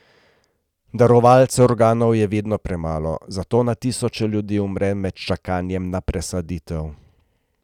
Darovalcev organov je vedno premalo, zato na tisoče ljudi umre med čakanjem na presaditev.